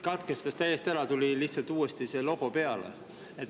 Katkestas täiesti ära, tuli lihtsalt uuesti logo peale.